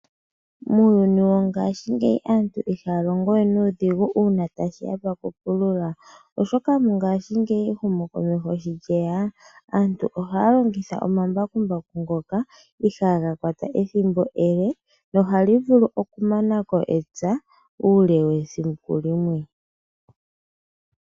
Muuyuni wongashingeyi aantu ihaya longo we nuudhigu uuna tashi ya pokupulula. Oshoka mongashingeyi ehumokomeho sho lyeya, aantu ohaya longitha omambakumbaku ngoka ihaga kwata ethimbo, ele nohali vulu okumana ko epya uule wesiku limwe.